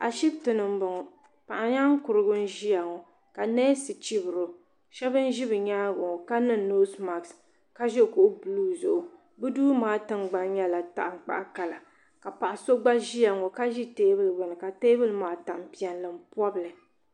ashibiti ni n bɔŋɔ paɣa nyaankurigu n ʒiya ɣɔ ka neesi chibiro shab n ʒi bi nyaangi ŋɔ ka niŋ noos mask ka ʒi kuɣu buluu zuɣu bi duu maa tingbani nyɛla tankpaɣu kala ka paɣa so gba ʒiya n ŋɔ ka ʒi teebuli gbuni ka teebuli maa tani piɛlli n pobili